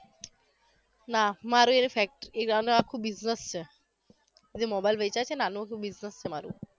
ના મારે એ ફેક્ટ એવાનું આખુ business છે એ જે mobile વેચે છે ને એનુ આખુ business છે મારુ